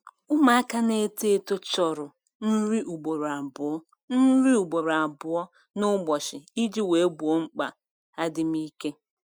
Ụmụaka na-eto eto chọrọ nri ugboro abụọ nri ugboro abụọ n'ụbọchị iji wee gboo mkpa adịm ike.